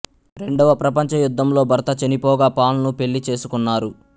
రెండవ ప్రపంచ యుద్ధంలో భర్త చనిపోగా పాల్ ను పెళ్ళి చేసుకున్నారు